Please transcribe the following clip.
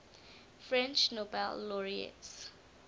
french nobel laureates